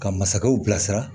Ka masakɛw bilasira